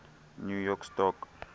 new york stock